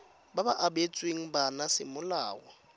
ba ba abetsweng bana semolao